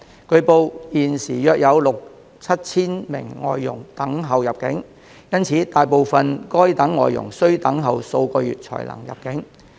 據報現時約有六、七千名外傭等候入境，因此大部分該等外傭需等候數個月才能入境。